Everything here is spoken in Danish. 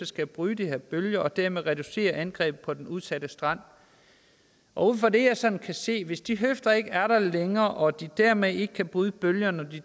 skal bryde de her bølger og dermed reducere angrebet på den udsatte strand og ud fra det jeg sådan kan se hvis de høfder ikke er der længere og de dermed ikke kan bryde bølgerne